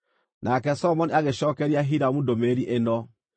Nake Solomoni agĩcookeria Hiramu ndũmĩrĩri ĩno: